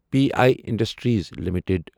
P I industries limited